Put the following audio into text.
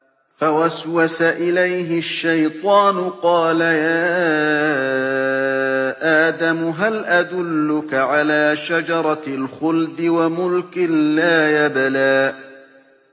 فَوَسْوَسَ إِلَيْهِ الشَّيْطَانُ قَالَ يَا آدَمُ هَلْ أَدُلُّكَ عَلَىٰ شَجَرَةِ الْخُلْدِ وَمُلْكٍ لَّا يَبْلَىٰ